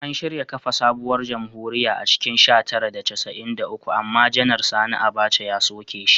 An shirya kafa sabuwar jamhuriya a cikin sha tara da casa’in da uku amma Janar Sani Abaca ya soke shi.